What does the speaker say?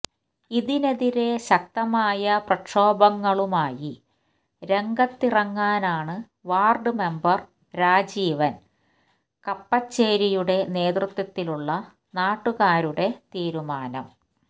ഇതിനെതിരെ ശക്തമായ പ്രക്ഷോഭങ്ങളുമായി രംഗത്തിറങ്ങാനാണ് വാര്ഡ് മെമ്പര് രാജീവന് കപ്പച്ചേരിയുടെ നേതൃത്വത്തിലുള്ള നാട്ടുകൂരുടെ തീരുമാനം